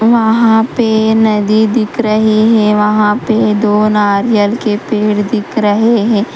वहां पे नदी दिख रही है वहां पे दो नारियल के पेड़ दिख रहे हैं।